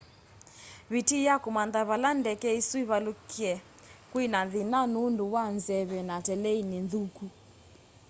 vitii ya kûmantha vala ndeke îsû ivaluke kwi na thina nundu wa nzeve na teleini nthuku